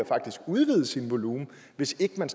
udvide sin volumen hvis ikke man